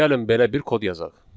Gəlin belə bir kod yazaq.